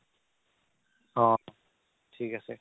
অ' থিক আছে